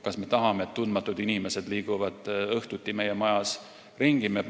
Kas me tahame, et tundmatud inimesed liiguvad õhtuti meie majas ringi?